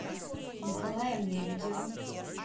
николаем лебедевым